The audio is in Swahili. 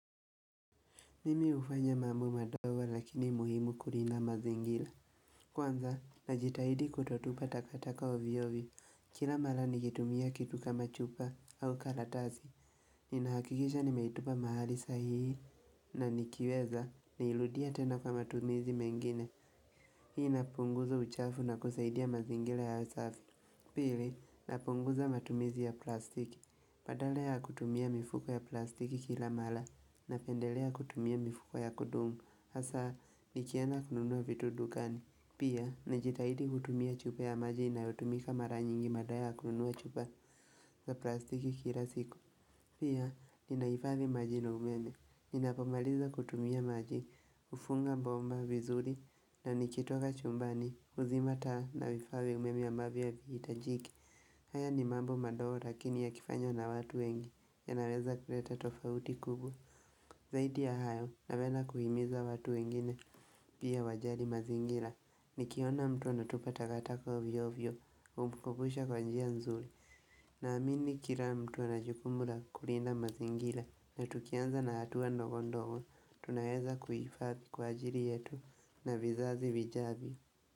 Mimi hufanya mambo madogo lakini muhimu kulinda mazingira. Kwanza, najitahidi kutotupa takataka ovyo ovyo. Kila mara nikitumia kitu kama chupa au kalatasi. Ninahakikisha nimeitupa mahali sahihi. Na nikiweza, niirudie tena kwa matumizi mengine. Hii inapunguza uchafu na kusaidia mazingira yawe safi. Pili, napunguza matumizi ya plastiki. Badala ya kutumia mifuko ya plastiki kila mara. Napendelea kutumia mifuko ya kudumu, hasaa nikienda kununua vitu dukani. Pia, najitahidi kutumia chupa ya maji inayotumika mara nyingi badala ya kununua chupa za plastiki kila siku Pia, ninahifadhi maji na umeme, ninapomaliza kutumia maji, hufunga bomba vizuri na nikitoka chumbani, huzima taa, na vifaa vya umeme ambavyo havihitajiki haya ni mambo madogo lakini yakifanywa na watu wengi, yanaweza kuleta tofauti kubwa Zaidi ya hayo napenda kuhimiza watu wengine pia wajali mazingira. Nikiona mtu anatupa taka taka ovyo ovyo humkubusha kwa njia nzuri Naamini kila mtu anajukumu la kulinda mazingira. Na tukianza na hatuwa ndogo ndogo, tunaweza kuhifadhi kwa ajili yetu na vizazi vijavyo.